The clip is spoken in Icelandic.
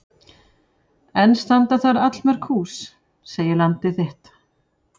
Enn standa þar allmörg hús segir Landið þitt.